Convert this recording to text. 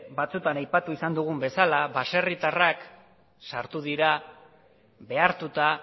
batzuetan aipatu izan dugun bezala baserritarrak sartu dira behartuta